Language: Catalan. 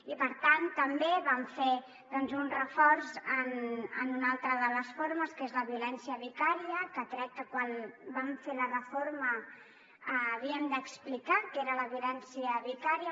i per tant també van fer un reforç en una altra de les formes que és la violència vicària que crec que quan vam fer la reforma havíem d’explicar què era la violència vicària